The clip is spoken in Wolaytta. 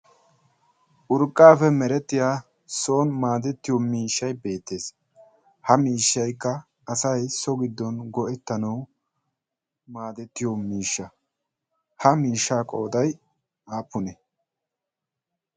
Urqqape meretiya soon maadetiyo miishshay beettees. ha mishshaykka asay so go'etanaw maadetiyo miishsha. ha miishsha qooday aappune?